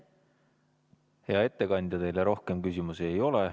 Hea ettekandja, teile rohkem küsimusi ei ole.